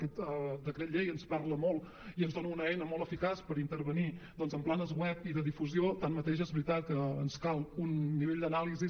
aquest decret llei ens parla molt i ens dona una eina molt eficaç per intervenir doncs en planes web i de difusió tanmateix és veritat que ens cal un nivell d’anàlisi